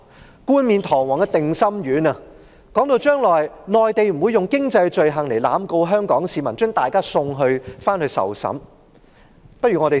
政府冠冕堂皇派發定心丸，說將來內地不會用經濟罪行濫告香港市民，把大家送回去受審。